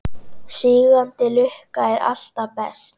Sígandi lukka er alltaf best.